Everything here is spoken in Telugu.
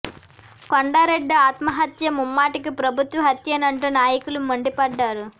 కొండా రెడ్డి అత్మహత్య ముమ్మటికి ప్రభుత్వ హత్యేనంటూ నాయకులు మండిపడ్డారు